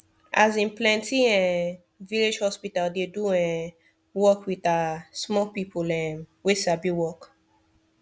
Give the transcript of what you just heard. asin plenti um village hospital dey do um work with ah small people um wey sabi work